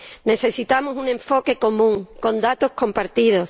Necesitamos un enfoque común, con datos compartidos.